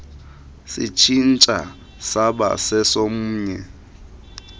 sitshintsha siba sesomnye